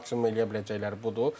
Maksimum eləyə biləcəkləri budur.